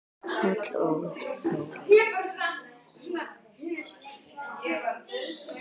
Páll og Þórey.